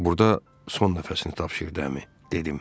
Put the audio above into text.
Burda son nəfəsini tapşırdı, əmi, dedim.